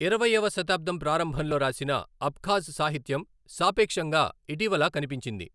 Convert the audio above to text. ఇరవైవ శతాబ్దం ప్రారంభంలో రాసిన అబ్ఖాజ్ సాహిత్యం సాపేక్షంగా ఇటీవల కనిపించింది.